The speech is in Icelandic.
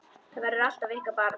Þetta verður alltaf ykkar barn.